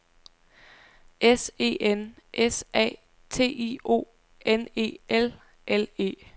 S E N S A T I O N E L L E